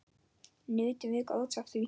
Nutum við góðs af því.